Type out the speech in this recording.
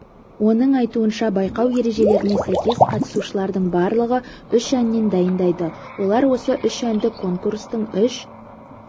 оның айтуынша байқау ережелеріне сәйкес қатысушылардың барлығы үш әннен дайындайды олар осы үш әнді конкурстың үш